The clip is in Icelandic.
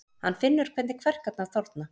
Hann finnur hvernig kverkarnar þorna.